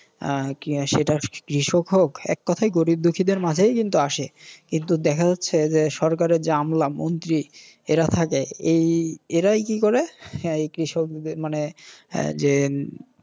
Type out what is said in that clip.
আহ সেটা কৃষক হোক এক কথায় গরীব দুখিদের মাঝেই কিন্তু আসে। কিন্তু দেখা যাচ্ছে যে সরকারের যে আমলা মন্ত্রী এঁরা থাকে। এই এরাই কি করে এই কৃষকদের মানে যে